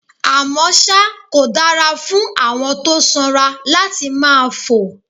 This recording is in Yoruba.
Àmọ́ ṣá, kò dára fún àwọn tó sanra láti máa fò